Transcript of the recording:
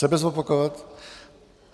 Sebe zopakovat?